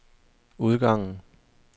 udgangen